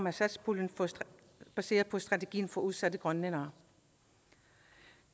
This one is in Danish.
af satspuljemidler og baseret på strategien for udsatte grønlændere